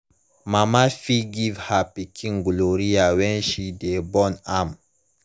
mama fit give her pikin gonorrhea when she de born am